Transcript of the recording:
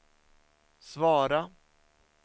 svara